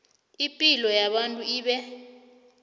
ipilo yabantu ibe